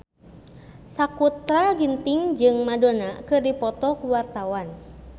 Sakutra Ginting jeung Madonna keur dipoto ku wartawan